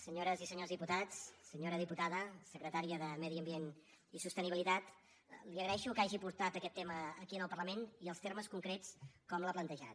senyores i senyors diputats senyora diputada secretària de medi ambient i sostenibilitat li agraeixo que hagi portat aquest tema aquí al parlament i els termes concrets com l’ha plantejat